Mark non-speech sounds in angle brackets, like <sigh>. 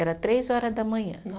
Era três horas da manhã. <unintelligible>